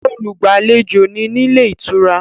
Olùgbàlejò ni nílé ìtura